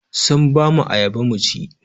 Sun ba mu ayaba mu ci.